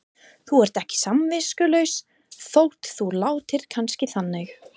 Þú ert ekki samviskulaus þótt þú látir kannski þannig.